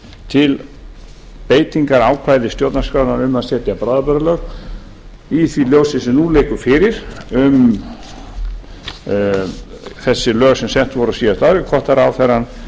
til beitingar ákvæða stjórnarskrárinnar um að setja bráðabirgðalög í því ljósi sem nú liggur fyrir um þessi lög sem sett voru á síðasta ári hvert viðhorf